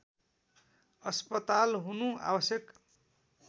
अस्पताल हुनु आवश्यक